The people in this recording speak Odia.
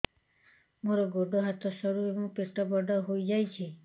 ମୋର ଗୋଡ ହାତ ସରୁ ଏବଂ ପେଟ ବଡ଼ ହୋଇଯାଇଛି